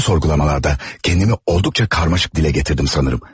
Son sorgulamalarda kendimi oldukça karmaşık dile getirdim sanırım.